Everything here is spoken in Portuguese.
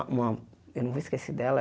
Eu não vou esquecer dela.